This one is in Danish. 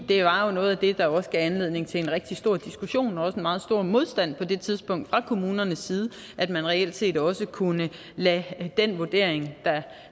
det var jo noget af det der også gav anledning til rigtig stor diskussion og en meget stor modstand på det tidspunkt fra kommunernes side at man reelt set også kunne lade den vurdering der